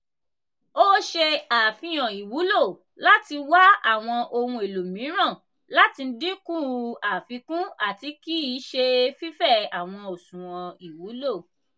o ṣe afihan iwulo lati wa awọn ohun elo miiran lati dinku afikun ati kii ṣe fifẹ awọn oṣuwọn iwulo.